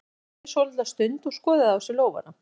Hann þagði svolitla stund og skoðaði á sér lófana.